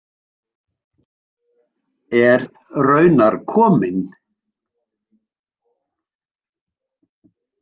Er raunar kominn.